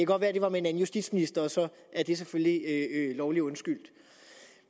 godt være at det var med en anden justitsminister og så er det selvfølgelig lovlig undskyldt